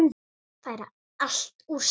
Færa allt úr stað.